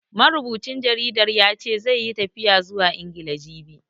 Marubucin jaridar ya ce, zai yi tafiya zuwa Ingila, jibi.